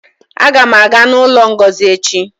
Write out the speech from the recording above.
Aga m aga n'ụlọ Ngozi echi